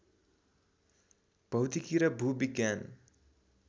भौतिकी र भूविज्ञान